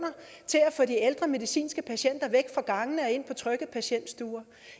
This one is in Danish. til at få de ældre medicinske patienter væk fra gangene og ind på trygge patientstuer